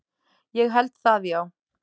Ég held það, já.